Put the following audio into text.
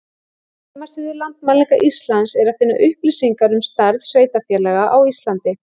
Á heimasíðu Landmælinga Íslands er að finna upplýsingar um stærð sveitarfélaga á Íslandi.